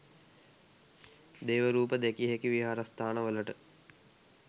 දේව රූප දැකිය හැකි විහාරස්ථානවලට